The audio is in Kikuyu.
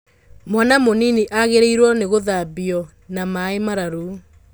Mwana mũnini agĩrĩirwo nĩgũthambio na maĩmararu.